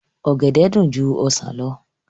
Ọ̀gẹ̀dẹ̀ dùn ju ọsàn lọ